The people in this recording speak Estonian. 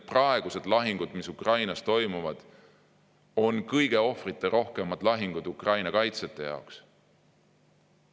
Praegused lahingud, mis Ukrainas toimuvad, on kõige ohvriterohkemad lahingud Ukraina kaitsjate jaoks.